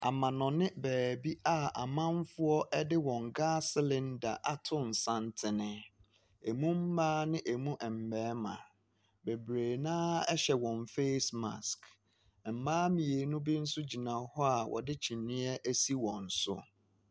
Amanɔne baabi a amanfoɔ ɛde wɔn gaas selenda ato nsantene, emu maa ne emu ɛmɛɛma. Bebree noaa ɛhyɛ wɔn fees mask, ɛmaa mmienu bi nso gyina hɔ wɔde kyinyɛ asi wɔn so.